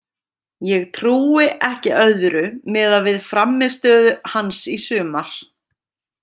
Ég trúi ekki öðru miðað við frammistöðu hans í sumar.